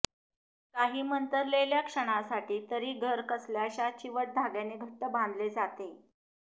काही मंतरलेल्या क्षणांसाठी तरी घर कसल्याशा चिवट धाग्याने घट्ट बांधले जाते